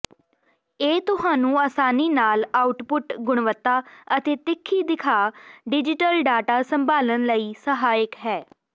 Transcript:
ਇਹ ਤੁਹਾਨੂੰ ਆਸਾਨੀ ਨਾਲ ਆਉਟਪੁੱਟ ਗੁਣਵੱਤਾ ਅਤੇ ਤਿੱਖੀ ਦਿਖਾ ਡਿਜ਼ੀਟਲ ਡਾਟਾ ਸੰਭਾਲਣ ਲਈ ਸਹਾਇਕ ਹੈ